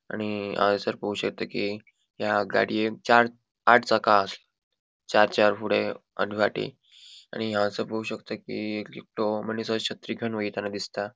आणि हांगासर पोवपाक शकता कि या गाडीएक चार आट चाका आहा त चार चार फुड़े आणि फाटी आणि हांगासर पोवु शकता कि एकटो मनिस छत्री घेऊनि वोएतान दिसता.